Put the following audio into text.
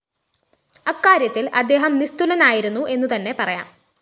അക്കാര്യത്തില്‍ അദ്ദേഹം നിസ്തുലനായിരുന്നു എന്നുതന്നെ പറയാം